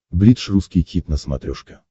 бридж русский хит на смотрешке